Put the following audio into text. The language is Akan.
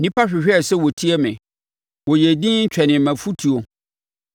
“Nnipa hwehwɛɛ sɛ wɔtie me, wɔyɛɛ dinn, twɛnee mʼafotuo.